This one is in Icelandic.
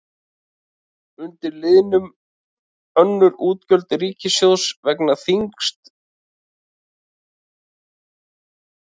Undir liðnum önnur útgjöld ríkissjóðs vega þyngst vaxtagreiðslur.